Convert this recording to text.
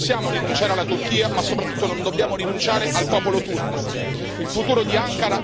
Sì, noi non possiamo rinunciare alla Turchia, ma soprattutto non dobbiamo rinunciare al popolo turco.